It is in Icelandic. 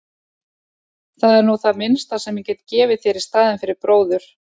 Það er nú það minnsta sem ég get gefið þér í staðinn fyrir bróður.